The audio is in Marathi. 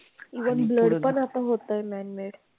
Even blood पण आता होतंय manmade.